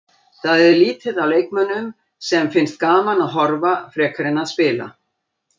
Það er lítið af leikmönnum sem finnst gaman að horfa frekar en að spila.